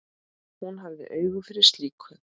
Hún hafði auga fyrir slíku.